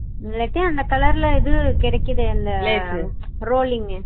இல்லாட்டி அந்த colour ல இது கிடைக்குதுல rolling உ